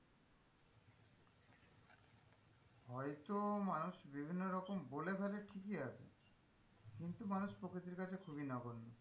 হয় তো মানুষ বিভিন্ন রকম বলে ফেলে ঠিকই আছে কিন্তু মানুষ প্রকৃতির কাছে খুবই নগন্য।